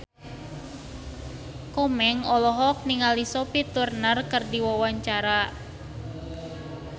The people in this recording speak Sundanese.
Komeng olohok ningali Sophie Turner keur diwawancara